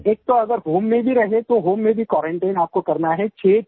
sir एक तो अगर होम में ही रहे तो होम में भी क्वारंटाइन आपको करना है